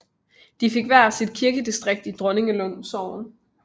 De fik hver sit kirkedistrikt i Dronninglund Sogn